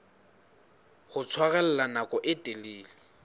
ho tshwarella nako e telele